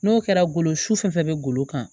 N'o kɛra golo sufɛ golo kan